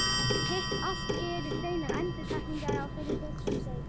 Hitt allt eru hreinar endurtekningar á þeirra verkum, segir hún.